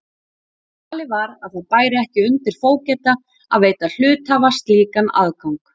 Talið var að það bæri ekki undir fógeta að veita hluthafa slíkan aðgang.